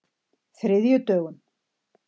þriðjudögum